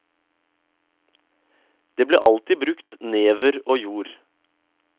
Det ble alltid brukt never og jord.